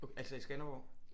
Altså i Skanderborg